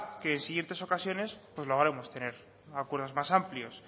que en siguientes ocasiones pues logremos tener acuerdos más amplios